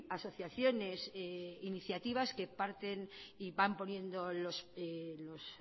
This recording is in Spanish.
asociaciones iniciativas que parten y van poniendo los